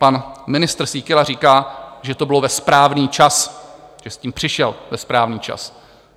Pan ministr Síkela říká, že to bylo ve správný čas, že s tím přišel ve správný čas.